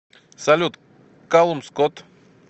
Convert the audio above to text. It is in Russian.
салют калум скотт